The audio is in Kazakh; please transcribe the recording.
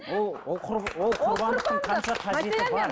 ол ол ол құрбандықтың қанша қажеті бар